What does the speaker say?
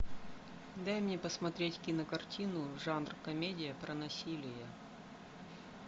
дай мне посмотреть кинокартину жанр комедия про насилие